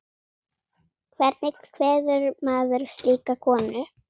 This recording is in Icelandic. Hvernig kveður maður slíka konu?